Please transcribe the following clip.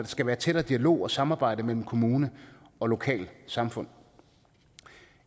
skal være tættere dialog og samarbejde mellem kommune og lokalsamfund